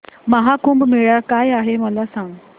महा कुंभ मेळा काय आहे मला सांग